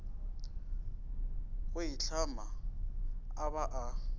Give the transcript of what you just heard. go itlhama a ba a